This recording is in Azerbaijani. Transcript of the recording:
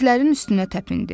İtlərin üstünə təpindi.